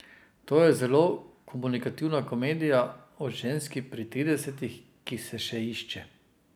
To je zelo komunikativna komedija o ženski pri tridesetih, ki se še išče.